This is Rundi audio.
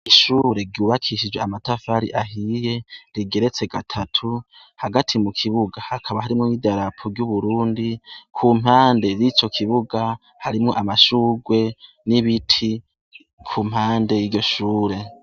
Ishure ryubakishije amatafari ahiye rigeretse gatatu hagati mu kibuga hakaba harimwo idarapo ry' Uburundi ku mpande yico kibuga harimwo amashugwe n' ibiti ku mpande y' iryo shure.